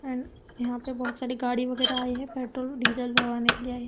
And यहां पर बहुत सारी गाड़ी वगैरह आए हैं। पेट्रोल डीजल भरवाने के लिए आए हैं।